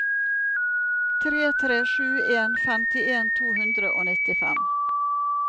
tre tre sju en femtien to hundre og nittifem